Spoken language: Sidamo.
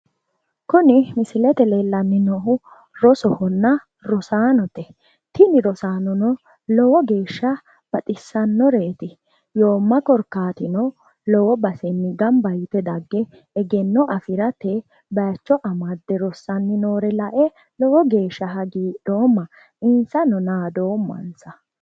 kuni misilete aana leellanni noohu rosohonna rosaanote tini rosaanono lowo geeshsha baxissannoreeti yoomma korkaatino lowo basenni gamba yite dagge egenno afirate bayiicho amadde rossanni noore lae lowo geeshsha hagiidhoomma insano naadoommansa.